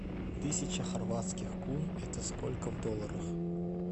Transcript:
тысяча хорватских кун это сколько в долларах